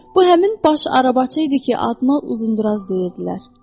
Bu həmin baş arabaçı idi ki, adına Uzunduraz deyirdilər.